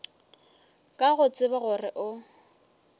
ka go tseba gore o